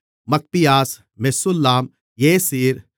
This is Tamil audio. மக்பியாஸ் மெசுல்லாம் ஏசீர்